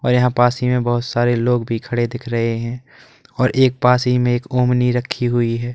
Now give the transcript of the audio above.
और यहां पास ही में बहुत सारे लोग भी खड़े दिख रहे हैं और एक पास ही में एक ओमनी रखी हुई है।